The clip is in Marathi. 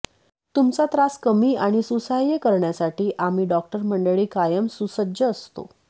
तुमचा त्रास कमी आणि सुसह्य करण्यासाठी आम्ही डॉक्टर मंडळी कायम सुसज्ज असतो